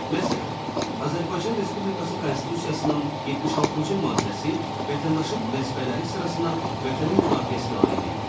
Məsələn, Azərbaycan Respublikası Konstitusiyasının 76-cı maddəsi vətəndaşın vəzifələri sırasına vətənin müdafiəsinə aid eləyir.